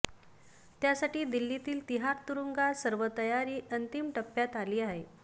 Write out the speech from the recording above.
त्यासाठी दिल्लीतील तिहार तुरुंगात सर्व तयारी अंतिम टप्प्यात आली आहे